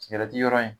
Sigɛrɛti yɔrɔ in